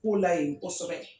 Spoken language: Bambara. Kow la yen kosɛbɛ.